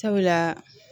Sabula